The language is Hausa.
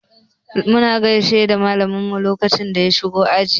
Mun gaishe da malamin mu lokacin da ya shigo ajin mu.